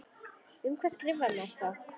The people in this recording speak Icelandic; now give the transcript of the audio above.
Um hvað skrifar maður þá?